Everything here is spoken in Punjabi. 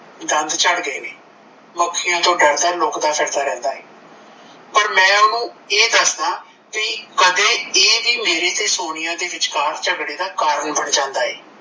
ਦੰਦ ਝੜ ਗਏ ਨੇ ਮੱਖਿਆ ਤੋਂ ਡਰਦਾ ਏ, ਲੁਕਦਾ ਫਿਰਦਾ ਰਿਹੰਦਾ ਏ, ਪਰ ਮੈ ਓਨੂੰ ਇਹ ਦੱਸਦਾ ਭਈ ਕਦੇ ਇਹ ਵੀ ਮੇਰੇ ਤੇ ਸੋਨੀਆ ਬਿਚਕਾਰ ਚੱਗੜੇ ਦਾ ਕਾਰਨ ਬਣ ਜਾਂਦਾ ਏ,